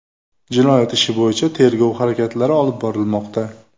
Jinoyat ishi bo‘yicha tergov harakatlari olib borilmoqda.